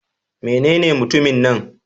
Menene mutumin nan?